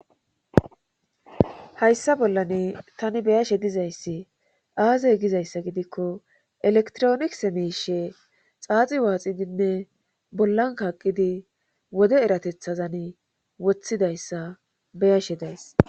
hayssa bollan tani beyashe dizayssi aazey gizayssa gidikko elektronikse miishe xaaxi waaxidinne bollan kaqqidi wode eratethazan wothidayssa beyashe days